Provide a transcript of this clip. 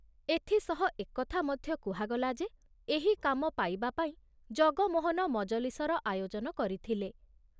ଏଥି ସହ ଏକଥା ମଧ୍ୟ କୁହାଗଲା ଯେ ଏହି କାମ ପାଇବାପାଇଁ ଜଗମୋହନ ମଜଲିସର ଆୟୋଜନ କରିଥିଲେ।